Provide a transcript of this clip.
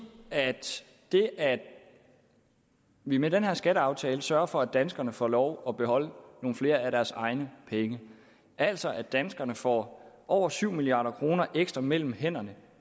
at det at vi med den her skatteaftale sørger for at danskerne får lov at beholde nogle flere af deres egne penge altså at danskerne får over syv milliard kroner ekstra mellem hænderne